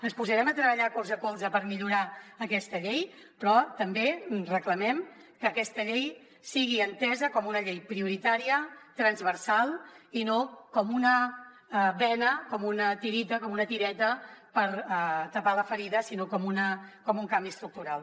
ens posarem a treballar colze a colze per millorar aquesta llei però també reclamem que aquesta llei sigui entesa com una llei prioritària transversal i no com una bena com una tireta per tapar la ferida sinó com un canvi estructural